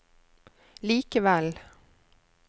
likevel